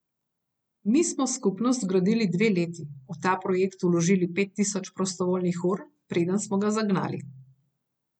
Mi smo skupnost gradili dve leti, v ta projekt vložili pet tisoč prostovoljnih ur, preden smo ga zagnali.